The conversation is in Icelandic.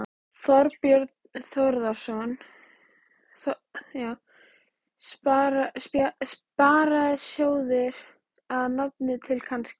Þorbjörn Þórðarson: Sparisjóðir að nafninu til, kannski?